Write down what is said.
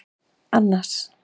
Annas